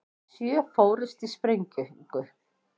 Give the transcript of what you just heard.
Sjö fórust í sprengingu